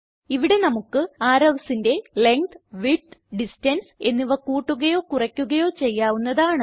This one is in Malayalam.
ഇവിടെ നമുക്ക് arrowsന്റെ ലെങ്ത് വിഡ്ത് ഡിസ്റ്റൻസ് എന്നിവ കൂട്ടുകയോ കുറയ്ക്കുകയോ ചെയ്യാവുന്നതാണ്